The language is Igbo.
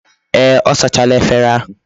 Ee, o sachala efere ahu